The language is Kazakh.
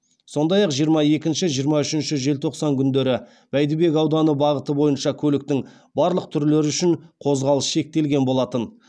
сондай ақ жиырма екінші жиырма үшінші желтоқсан күндері бәйдібек ауданы бағыты бойынша көліктің барлық түрлері үшін қозғалыс шектелген болатын